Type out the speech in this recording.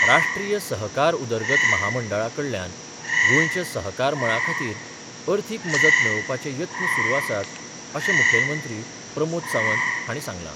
राष्ट्रीय सहकार उदरगत म्हामंडळा कडल्यान गोंयच्या सहकार मळा खातीर अर्थीक मजत मेळोवपाचे यत्न सुरू आसात अशें मुखेलमंत्री प्रमोद सावंत हांणी सांगलां.